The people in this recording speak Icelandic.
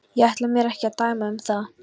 Ég ætla mér ekki að dæma um það.